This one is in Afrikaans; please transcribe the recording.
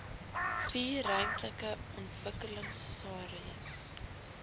vier ruimtelike ontwikkelingsareas